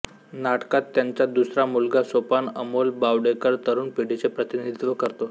नाटकात त्यांचा दुसरा मुलगा सोपान अमोल बावडेकर तरुण पिढीचे प्रतिनिधित्व करतो